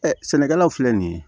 sɛnɛkɛlaw filɛ nin ye